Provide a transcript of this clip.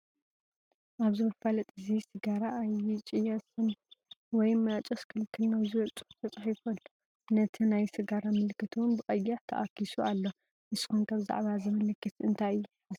ኣብዚ መፋለጢ እዚ ሲጋራ ኣይጭየስን ወይ ማጨስ ክልክል ነው ዝብል ፅሑፍ ተፃሒፉ ኣሎ፡፡ ነቲ ናይ ስጋራ ምልክት ውን ብቀይሕ ተኣኪሱ ኣሎ፡፡ ንስኹም ከ ብዛዕባ እዚ ምልክት እዚ እንታይ ሓሳብ ኣለኩም?